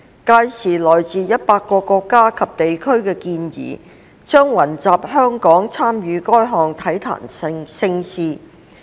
屆時來自100個國家及地區的健兒將雲集香港參與該項體壇盛事。